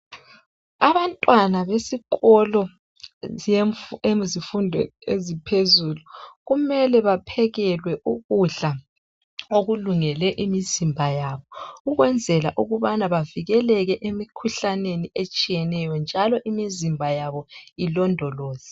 Abantwana besikolo yezifundo eziphezulu kumele baphekelwe ukudla okulungele imizimba yabo ukwenzela ukubana bavikeleke emikhuhlaneni etshiyeneyo njalo imizimba yabo ilondoloze.